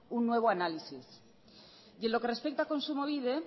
un nuevo análisis y en lo que respecta a kontsumobide